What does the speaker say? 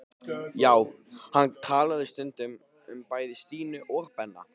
Já, hann talaði stundum um bæði Stínu og Benna.